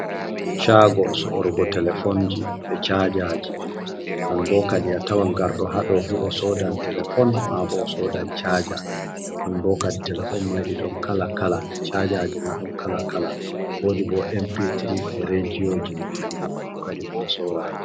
Chago sorugo telefonji e chajaji, non bo kadi a tawan garɗo ha dou fu o sodan telefon, ma bo o sodan chaja, non bo kadi telefon mai ɗi ɗon kala kala, chajaji ma ɗon kala kala, wodi bo empitri e rediyoji, kanjum fu kadi ɓe ɗo sora ha ɗo.